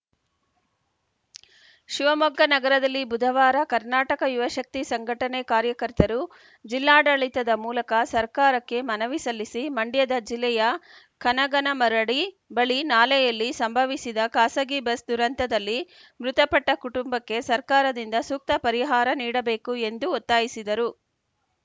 ಶಿವಮೊಗ್ಗ ನಗರದಲ್ಲಿ ಬುಧವಾರ ಕರ್ನಾಟಕ ಯುವಶಕ್ತಿ ಸಂಘಟನೆ ಕಾರ್ಯಕರ್ತರು ಜಿಲ್ಲಾಡಳಿತದ ಮೂಲಕ ಸರಕಾರಕ್ಕೆ ಮನವಿ ಸಲ್ಲಿಸಿ ಮಂಡ್ಯದ ಜಿಲ್ಲೆಯ ಕನಗನಮರಡಿ ಬಳಿ ನಾಲೆಯಲ್ಲಿ ಸಂಭವಿಸಿದ ಖಾಸಗಿ ಬಸ್‌ ದುರಂತದಲ್ಲಿ ಮೃತಪಟ್ಟಕುಟುಂಬಕ್ಕೆ ಸರ್ಕಾರದಿಂದ ಸೂಕ್ತ ಪರಿಹಾರ ನೀಡಬೇಕು ಎಂದು ಒತ್ತಾಯಿಸಿದರು